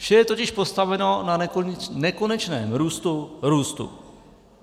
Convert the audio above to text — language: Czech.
Vše je totiž postaveno na nekonečném růstu růstu.